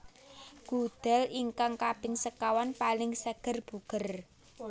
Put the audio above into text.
Gudel ingkang kaping sekawan paling seger buger